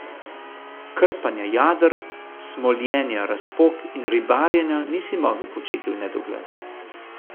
Krpanja jader, smoljenja razpok in ribarjenja nisi mogel početi v nedogled.